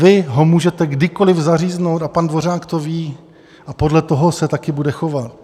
Vy ho můžete kdykoliv zaříznout a pan Dvořák to ví a podle toho se taky bude chovat.